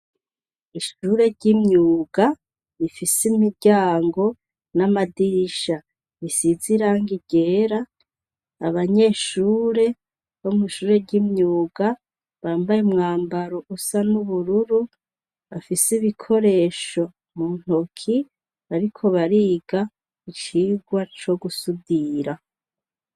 Ishure ryimyuga rifise imiryango n'amadirisha bisize irangi ryera, abanyeshure bo mwishure ryimyuga bambaye umwambaro usa nubururu bafise ibikoresho mu ntoke bariko bariga icigwa co gusudira.